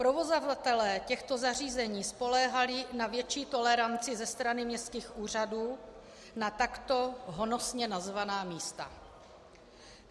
Provozovatelé těchto zařízení spoléhali na větší toleranci ze straně městských úřadů na takto honosně nazvaná místa.